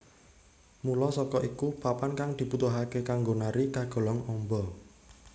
Mula saka iku papan kang dibutuhake kanggo nari kagolong amba